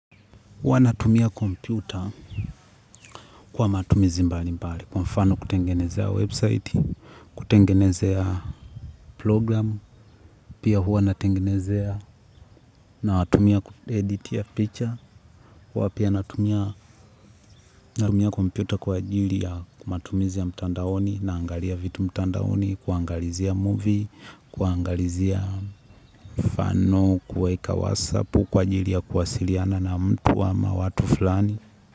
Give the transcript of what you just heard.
Huwa natumia komputa kwa matumizi mbali mbali, kwa mfano kutengenezea website, kutengenezea programu, pia huwa natengenezea na watumia editia picture, huwa pia natumia komputa kwa ajili ya kumatumizi ya mtandaoni na angalia vitu mtandaoni, kuangalizia movie, kuangalizia mfano, kuweka wasapu, kuajili ya kuwasiliana na mtu ama watu fulani.